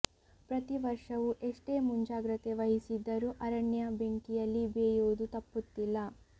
ಪ್ರತಿ ವರ್ಷವೂ ಎಷ್ಟೇ ಮುಂಜಾಗ್ರತೆ ವಹಿಸಿದ್ದರೂ ಅರಣ್ಯ ಬೆಂಕಿಯಲ್ಲಿ ಬೇಯುವುದು ತಪ್ಪುತ್ತಿಲ್ಲ